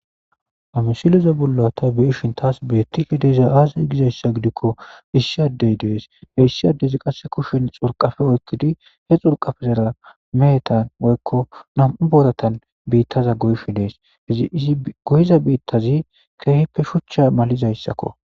hamisileza bulla ta beishin taas beetti hideza aazizi gizayssa gidikko issi addey dees he issi addezi qasse kushen xurqafe oykkidi he xurqafezera meehetan woykko nam7u boortan biittaza goyshi dees izi izi goyiza biittazi keehippe shuchcha malizayssakko